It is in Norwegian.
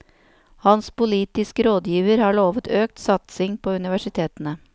Hans politiske rådgiver har lovet økt satsing på universitetene.